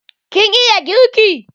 Kin iya girki?